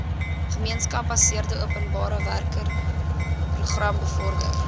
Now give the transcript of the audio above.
gemeenskapsgebaseerde openbarewerkeprogram bevorder